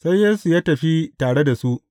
Sai Yesu ya tafi tare da su.